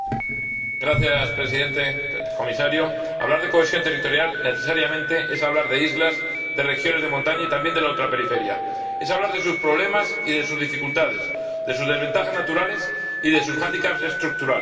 Señor Presidente, señor Comisario, hablar de cohesión territorial es necesariamente hablar de islas, de regiones de montaña y también de la ultraperiferia. Es hablar de sus problemas y de sus dificultades, de sus desventajas naturales y de sus hándicaps estructurales.